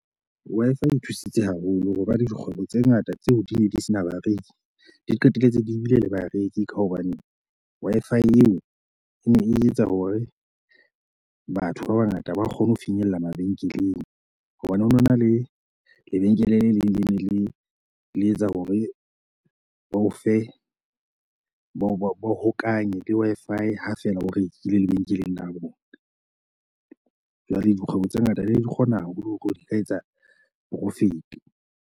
Wi-Fi e thusitse haholo ho ba le dikgwebo tse ngata tseo di ne di se na bareki, di qetelletse di ebile le bareki. Ka hobane Wi-Fi eo e ne e etsa hore batho ba bangata ba kgone ho finyella mabenkeleng. Hobane ho no na le lebenkele le leng le le leng le etsa hore ba o fe ba o hokahanya le Wi-Fi ha fela o rekile lebenkeleng la bo bona. Jwale dikgwebo tse ngata di kgona haholo hore di ka etsa hore o fete .